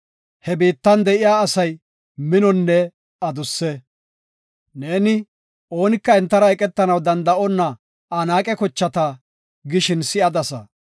He biittan de7iya asay minonne adusse. Neeni, “Oonika entara eqetanaw danda7onna Anaaqe kochata” gishin si7adasa.